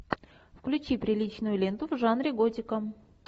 включи приличную ленту в жанре готика